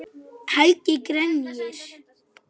Án þess að fella tár.